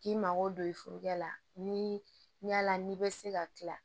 K'i mago don i furumuso la ni yala n'i bɛ se ka tila